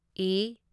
ꯢ